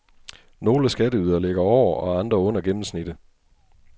Nogle skatteydere ligger over og andre under gennemsnittet.